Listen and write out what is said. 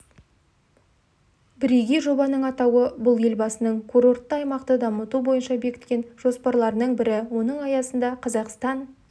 бірегей жобаның атауы бұл елбасының курортты аймақты дамыту бойынша бекіткен жоспарларының бірі оның аясында қазақстан